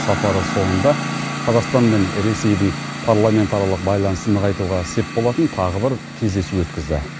сапары соңында қазақстан мен ресейдің парламентаралық байланысын нығайтуға сеп болатын тағы бір кездесу өткізді